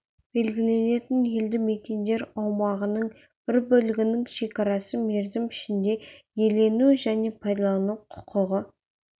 белгіленетін елді мекендер аумағының бір бөлігінің шекарасы мерзім ішінде иелену және пайдалану құқығы